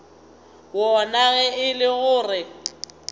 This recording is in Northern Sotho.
wona ge e le gore